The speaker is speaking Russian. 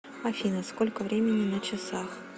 афина сколько времени на часах